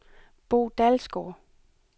Bo Dalsgaard